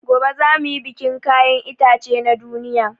Gobe za muyi bikin kayan itace na duniya